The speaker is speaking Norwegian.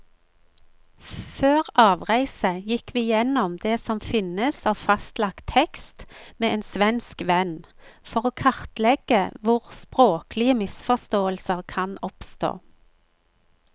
Før avreise gikk vi gjennom det som finnes av fastlagt tekst med en svensk venn, for å kartlegge hvor språklige misforståelser kan oppstå.